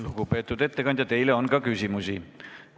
Lugupeetud ettekandja, teile on küsimusi.